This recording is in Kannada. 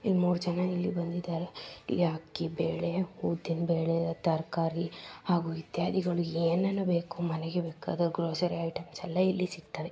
ಎಲ್ಲಿ ಮೂರ್ ಜನ ಇಲ್ಲಿ ಬಂದಿದ್ದಾರೆ. ಇಲ್ಲಿ ಅಕ್ಕಿ ಬೆಳೆ ಉದ್ದನಾ ಬೆಳೆ ತರಕಾರಿ ಹಾಗೆ ಇತ್ಯಾದಿ ಯನೇನು ಮನಗೆ ಬೇಕಾದ ಗ್ರೋಸರಿಎಸ್ ಐಟೆಮ್ಸಗಳ್ಳು ಎಲ್ಲಿ ಸಿಗ್ತಿವೇ.